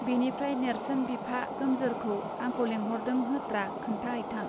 बेनिफ्राय नेर्सोन बिफा गोमजोरखौ आंखौ लेंहरदों होत्रा खोन्था हैथां